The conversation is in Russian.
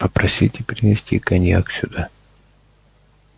попросите принести коньяк сюда